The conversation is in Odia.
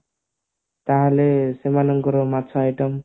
ତାହେଲେ ସେମାନକର ମାଛ item